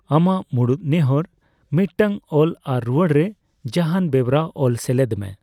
ᱟᱢᱟᱜ ᱢᱩᱲᱩᱫ ᱱᱮᱦᱚᱨ ᱢᱤᱫᱴᱟᱝ ᱚᱞ ᱟᱨ ᱨᱩᱣᱟᱹᱲ ᱨᱮ ᱡᱟᱦᱟᱱ ᱵᱮᱣᱨᱟ ᱚᱞ ᱥᱮᱞᱮᱫ ᱢᱮ ᱾